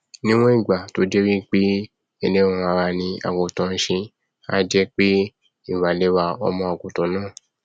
ní ìwọn ìgbà tó jẹ wípé ẹlẹran ara ni àgùntàn nṣe a jẹpé ìwà lẹwà ọmọ àgùntàn náà